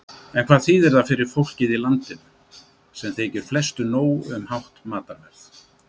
En hvað þýðir það fyrir fólkið í landinu, sem þykir flestu nóg um hátt matarverð?